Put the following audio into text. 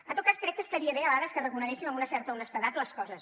en tot cas crec que estaria bé a vegades que reconeguéssim amb una certa honestedat les coses